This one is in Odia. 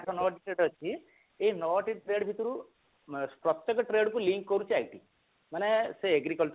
ଆଠ ନ ଟି trade ଅଛି ଏଇ ନ ଟି trade ଭିତରୁ ପ୍ରତ୍ୟକ trade କୁ link କରୁଛି IT ମାନେ ସେ agriculture